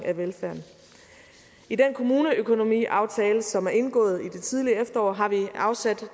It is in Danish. af velfærden i den kommuneøkonomiaftale som er indgået i det tidlige efterår har vi afsat